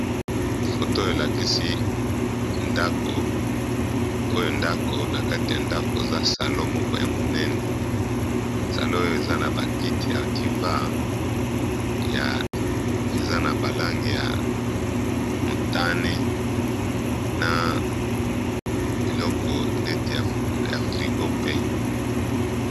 Foto elakisi oyo ndako na kati ya ndako oza salon moko ya monene salon oyo eza na bakiti ya diva ya eza na balange ya motane na eloko neti ya frigo pe.